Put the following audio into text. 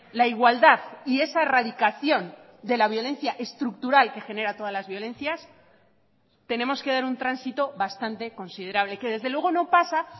la igualdad y esa erradicación de la violencia estructural que genera todas las violencias tenemos que dar un tránsito bastante considerable que desde luego no pasa